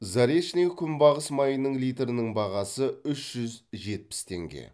заречное күнбағыс майының литрінің бағасы үш жүз жетпіс теңге